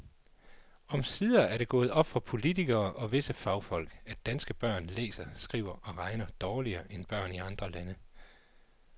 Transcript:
Omsider er det gået op for politikere og visse fagfolk, at danske børn læser, skriver og regner dårligere end børn i andre lande.